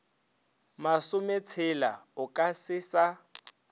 masometshela o ka se sa